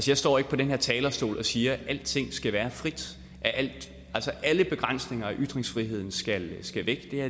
jeg står ikke på den her talerstol og siger at alting skal være frit at alle begrænsninger af ytringsfriheden skal væk